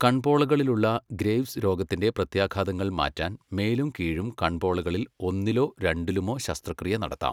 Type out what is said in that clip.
കൺപോളകളിലുള്ള Graves രോഗത്തിന്റെ പ്രത്യാഘാതങ്ങൾ മാറ്റാൻ മേലും കീഴും കൺപോളകളിൽ ഒന്നിലോ രണ്ടിലുമോ ശസ്ത്രക്രിയ നടത്താം.